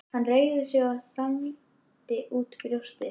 Hann reigði sig og þandi út brjóstið.